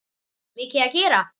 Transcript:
Mikið að gera?